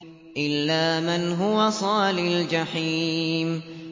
إِلَّا مَنْ هُوَ صَالِ الْجَحِيمِ